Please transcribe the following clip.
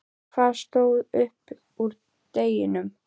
En hvað stóð upp úr deginum?